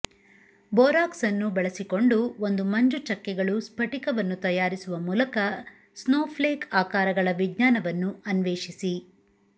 borax ಅನ್ನು ಬಳಸಿಕೊಂಡು ಒಂದು ಮಂಜುಚಕ್ಕೆಗಳು ಸ್ಫಟಿಕವನ್ನು ತಯಾರಿಸುವ ಮೂಲಕ ಸ್ನೋಫ್ಲೇಕ್ ಆಕಾರಗಳ ವಿಜ್ಞಾನವನ್ನು ಅನ್ವೇಷಿಸಿ